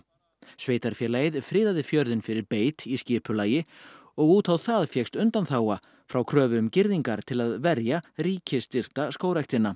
sveitarfélagið friðaði fjörðinn fyrir beit í skipulagi og út á það fékkst undanþága frá kröfu um girðingar til að verja ríkisstyrkta skógræktina